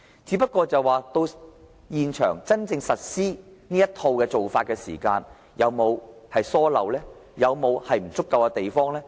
只是，現場真正施行這套做法時，有沒有疏漏？有沒有不足夠的地方？